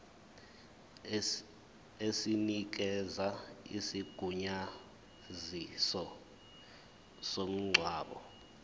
esinikeza isigunyaziso somngcwabo